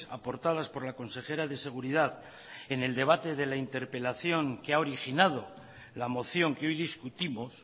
aportadas por la consejera de seguridad en el debate de la interpelación que ha originado la moción que hoy discutimos